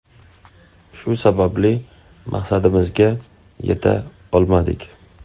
Shu sababli maqsadimizga yeta olmadik.